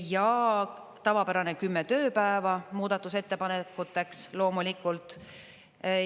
Ja tavapärane 10 tööpäeva on muudatusettepanekuteks, loomulikult.